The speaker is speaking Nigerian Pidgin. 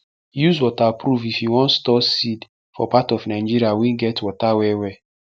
use waterproof if you wan store seed for part of nigeria wey get water well well